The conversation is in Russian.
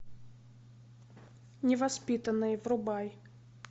невоспитанные врубай